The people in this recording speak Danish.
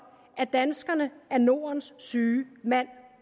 at danskerne er nordens syge mand